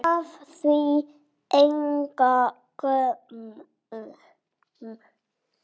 Gaf því engan gaum.